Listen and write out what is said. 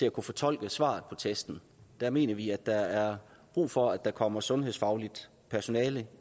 at kunne fortolke svaret på testen der mener vi at der er brug for at der kommer sundhedsfagligt personale